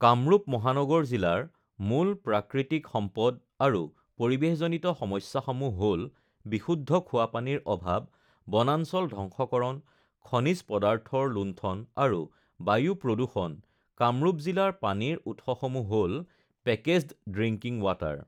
কামৰূপ মহানগৰ জিলাৰ মূল প্ৰাকৃতিক সম্পদ আৰু পৰিৱেশজনিত সমস্যাসমূহ হ'ল বিশুদ্ধ খোৱা পানীৰ অভাৱ বনাঞ্চল ধ্বংসকৰণ খনিজ পদাৰ্থৰ লুণ্ঠন আৰু বায়ু প্ৰদূষণ কামৰূপ জিলাৰ পানীৰ উৎসসমূহ হ'ল পেকেজ্ড ড্ৰিংকিং ৱাটাৰ